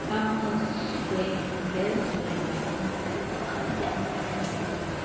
amazwembezwembe omfo kagxuluwe